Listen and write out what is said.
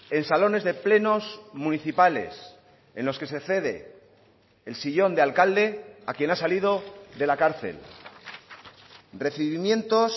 en salones de plenos municipales en los que se cede el sillón de alcalde a quien ha salido de la cárcel recibimientos